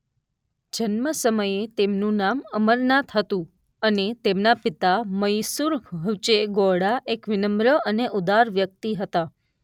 જન્મ સમયે તેમનું નામ અમરનાથ હતું અને તેમના પિતા મૈસુર હુચે ગૌડા એક વિનમ્ર અને ઉદાર વ્યક્તિ હતા.